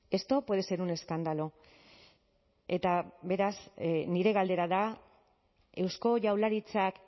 esto puede ser un escándalo eta beraz nire galdera da eusko jaurlaritzak